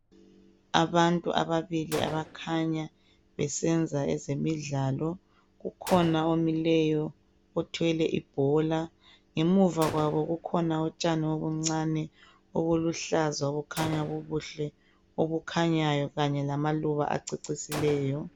Abantu ababili abakhanya besenza ezemidlalo. Kukhona omileyo othwele ibhola. Ngemuva kwabo kukhona utshani obuncane obuluhlaza obukhanya bubuhle obukhanyayo kanye lamaluba acecislieyo.